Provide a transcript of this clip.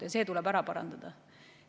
See viga tuleb ära parandada.